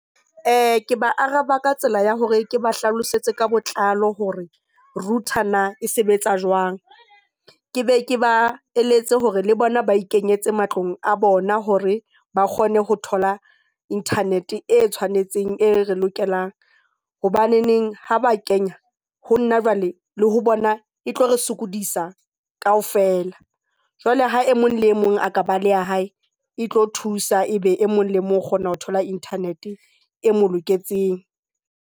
Ke ba araba ka tsela ya hore ke ba hlalosetse ka botlalo hore router na e sebetsa jwang. Ke be ke ba eletse hore le bona ba ikenyetse matlong a bona hore ba kgone ho thola internet e tshwanetseng e re lokelang. Hobaneneng ha ba kenya ho nna jwale le ho bona e tlo re sokodisa kaofela. Jwale ha e mong le mong a ka ba le ya hae, e tlo thusa e be e mong le mong o kgona ho thola internet e mo loketseng.